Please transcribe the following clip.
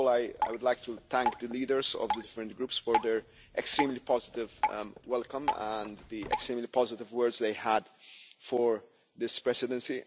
First of all, I would like to thank the leaders of the different groups for their extremely positive welcome and the extremely positive words they had for this Presidency.